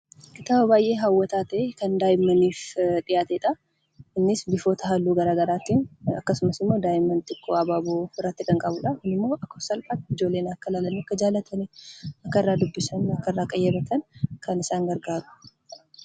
Tapha baay'ee hawwataa ta'e kan daa'immaniif dhiyaatedha. Innis bifoota halluu garaagaraatiin akkasumas immoo daa'imman xiqqoo abaaboo biratti kan qabudha. Kunimmoo ijoolleen salphaatti akka jaallataniif qayyabatan kan gargaarudha.